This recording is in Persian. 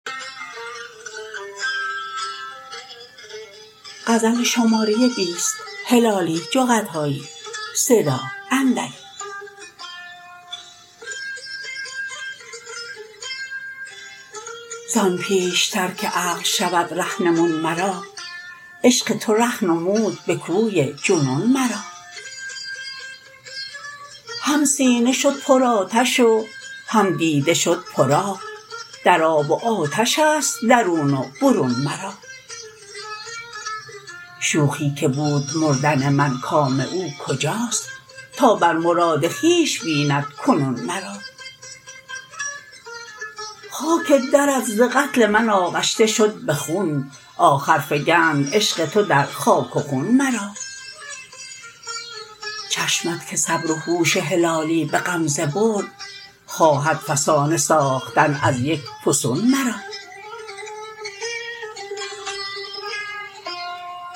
زان پیشتر که عقل شود رهنمون مرا عشق تو ره نمود بکوی جنون مرا هم سینه شد پر آتش و هم دیده شد پر آب در آب و آتشست درون و برون مرا شوخی که بود مردن من کام او کجاست تا بر مراد خویش ببیند کنون مرا خاک درت ز قتل من آغشته شد بخون آخر فگند عشق تو در خاک و خون مرا چشمت که صبر و هوش هلالی بغمزه برد خواهد فسانه ساختن از یک فسون مرا